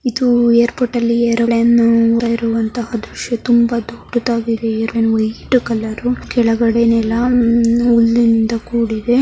ಇದು ಏರ್ಪೋರ್ಟ್ ಅಲ್ಲಿ ಏರೊಲೈನ್ ಬರುವಂತಹ ದೃಶ್ಯ. ತುಂಬಾ ದೊಡ್ಡಾಗಿದೆ ಏರೊಲೈನ್ ವೈಟ್ ಕಲರ್ ಕೆಳಗಡೆ ನೆಲ ಕೂಡಿದೆ.